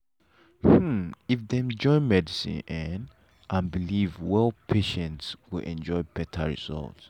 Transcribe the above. hmm if dem fit join medicine um and belief well patients go enjoy better result.